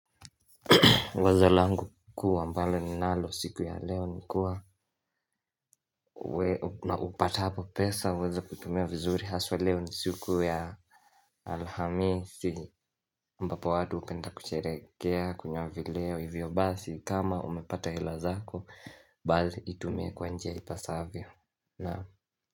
Wazo langu kuwa ambalo ninalo siku ya leo ni kuwa na upatapo pesa uweza kutumia vizuri haswa leo ni siku ya Alhamisi ambapo watu hupenda kusherekea kunywa vileo hivyo basi kama umepata hela zako basii itumie kwa njia ipasavyo nao.